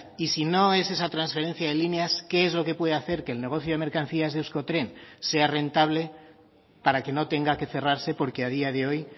y si no es esa transferencia de líneas qué es lo que puede hacer que el negocio de mercancías de euskotren sea rentable para que no tenga que cerrarse porque a día de hoy